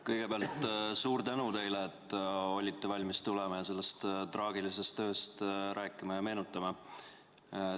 Kõigepealt suur tänu teile, et olite valmis tulema ja sellest traagilisest ööst rääkima ja seda meenutama.